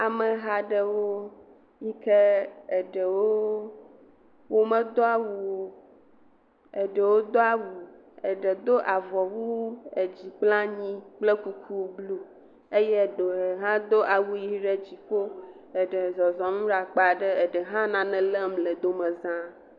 Ameha aɖewo yi ke eɖewo womedo awu o, eɖewo do awu eɖe do avɔwu dzikplanyi kple kuku eye eɖe hã do awu ʋi ɖe dziƒo, eɖe le zɔzɔm ɖe akpa aɖe, eɖe hã le nane lém le domeza.